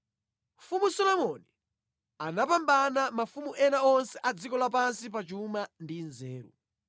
Mfumu Solomoni anapambana mafumu ena onse a dziko lapansi pa chuma ndi nzeru.